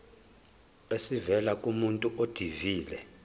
esivela kumuntu odilive